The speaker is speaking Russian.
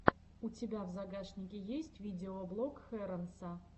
у тебя в загашнике есть видеоблог хэронса